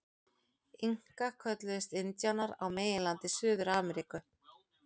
Inkar kölluðust indíánar á meginlandi Suður-Ameríku.